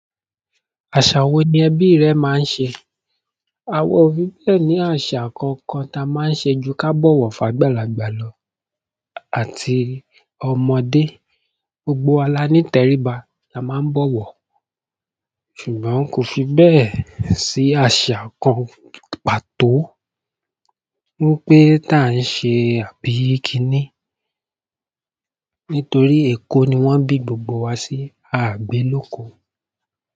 Àṣà wo ni ẹbí rẹ máa ń ṣe? À wa o fi bẹ́ẹ̀ ní àṣà kankan táa máa ń ṣe ju ká bọ̀wọ̀ fágbalàgbà lọ àti ọmọdé, gbogbo wa la ní tẹríba la máa ń bọ̀wọ̀. Ṣùgbọ́n kò fi bẹ́ẹ̀ sí àṣà kan pàtó wípé táa ń ṣe àbí kiní nítorí Èkó ni wọ́n bí gbogbo wa sí, aà gbé lóko.